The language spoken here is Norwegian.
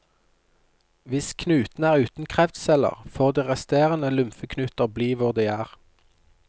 Hvis knuten er uten kreftceller, får de resterende lymfeknuter bli hvor de er.